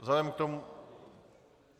Vzhledem k tomu...